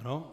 Ano.